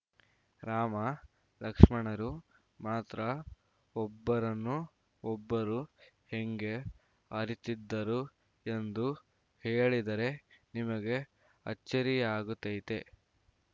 ರಾಮ ಲಕ್ಸ್ಮನರು ಮಾತ್ರ ಒಬ್ಬರನ್ನು ಒಬ್ಬರು ಹೆಂಗೆ ಅರಿತಿದ್ದರು ಎಂದು ಹೇಳಿದರೆ ನಿಮಗೆ ಅಚ್ಚರಿಯಾಗತೈತೆ